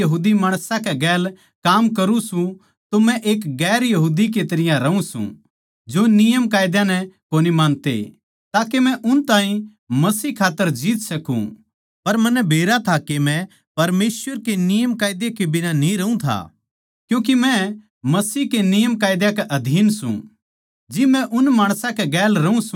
इस्से तरियां जिब मै गैर यहूदी माणसां कै गैल काम करुँ सूं तो मै एक गैर यहूदी की तरियां रहूँ सूं जो यहूदी नियमकायदा नै कोनी मानते ताके मै उन ताहीं मसीह खात्तर जीत सकूँ पर मन्नै बेरा था के मै परमेसवर के नियमकायदा के बिना न्ही रहूँ था क्यूँके मै मसीह के नियमकायदा के अधीन सूं